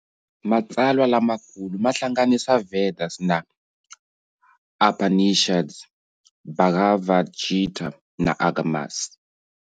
Matsalwa lama kulu mahlanganisa Vedas na Upanishads, Bhagavad Gita, na Agamas.